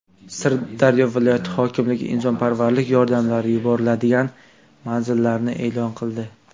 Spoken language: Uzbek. Sirdaryo viloyati hokimligi insonparvarlik yordamlari yuboriladigan manzillarni e’lon qildi.